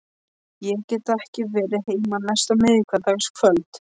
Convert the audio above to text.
Ég get því ekki verið heima næsta miðvikudagskvöld.